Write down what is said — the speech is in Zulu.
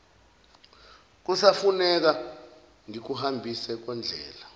kusafuneka ngikuhambise kondlela